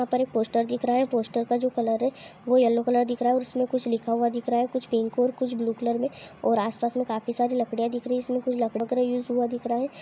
यहा पर एक पोस्टर दिख रहा है |पोस्टर का जो कलर है| | वो येल्लो कलर दिख रहा है |और इसमे कुछ लिखा हुआ दिख रहा है कुछ पिंक और कुछ ब्लू कलर मे और आस पास मे काफी सारी लकड़िया दिख रही है | इसमे कुछ यूस हुआ दिख रहा है।